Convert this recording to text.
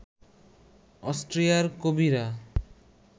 অস্ট্রিয়ার কবিরা